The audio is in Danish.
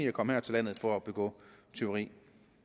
at komme her til landet for at begå tyveri